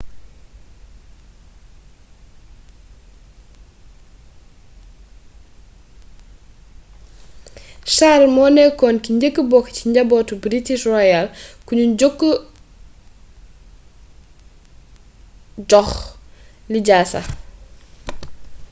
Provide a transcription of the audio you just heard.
charles moo nekkoon ki njëkka bokk ci njabootu british royal kuñu jox lijaasa